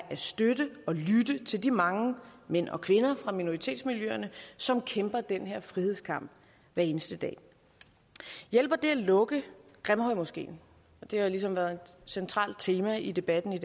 støtte og lytte til de mange mænd og kvinder fra minoritetsmiljøerne som kæmper den her frihedskamp hver eneste dag hjælper det at lukke grimhøjmoskeen det har ligesom været et centralt tema i debatten i